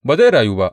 Ba zai rayu ba!